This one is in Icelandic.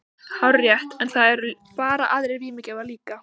Hárrétt, en það eru bara aðrir vímugjafar líka.